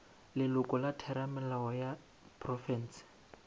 leloko la theramelao ya profense